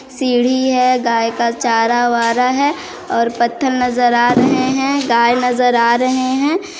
सीढ़ी है गाय का चारा वारा है और पत्थर नजर आ रहे है गाय नजर आ रहे है।